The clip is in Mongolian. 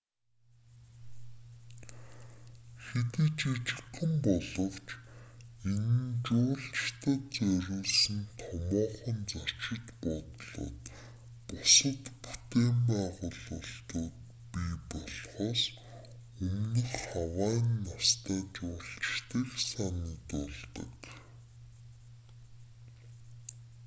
хэдий жижигхэн боловч энэ нь жуулчдад зориулсан томоохон зочид буудлууд бусад бүтээн байгуулалтууд бий болохоос өмнөх хавайн настай жуулчдыг санагдуулдаг